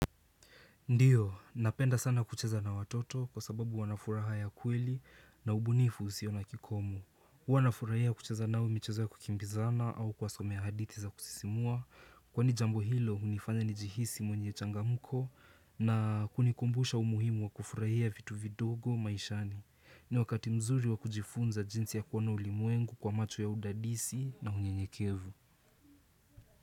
Ndiyo, napenda sana kucheza na watoto kwa sababu wanafuraha ya kweli na ubunifu usio na kikomo. Huwa nafurahia kucheza nao michezo ya kukimbizana au kuwasomea hadithi za kusisimua. Kwani jambo hilo, hunifanya nijihisi mwenye changamko na kunikumbusha umuhimu wa kufurahia vitu vidogo maishani. Ni wakati mzuri wa kujifunza jinsi ya kuona ulimwengu kwa macho ya udadisi na unyenyekevu.